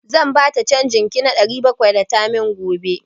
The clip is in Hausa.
Zan bata canjin ki na ɗari bakwai da tamanin gobe.